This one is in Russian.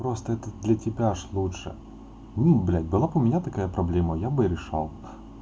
просто это для тебя же лучше мм блять было у меня такая проблема я бы решал